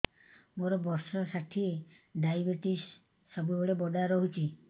ମୋର ବର୍ଷ ଷାଠିଏ ଡାଏବେଟିସ ସବୁବେଳ ବଢ଼ା ରହୁଛି